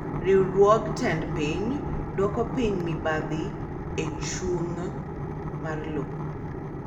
Riwruog tend piny duoko piny mibadhi echung' mar lowo.